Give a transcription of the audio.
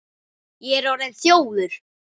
Ég er orðinn þjófur.